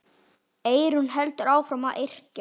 Eyrún heldur áfram að yrkja.